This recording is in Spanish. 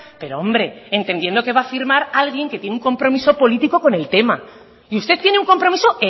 pero hombre entendiendo que va a firmar alguien que tiene un compromiso político con el tema y usted tiene un compromiso